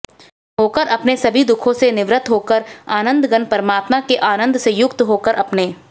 होकर अपने सभी दुःखों से निवृत्त होकर आनन्दघन परमात्मा के आनन्द से युक्त होकर अपने